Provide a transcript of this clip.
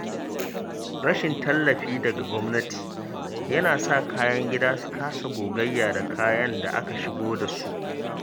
Rashin tallafi daga gwamnati yana sa kayan gida su kasa gogayya da kayan da aka shigo da su.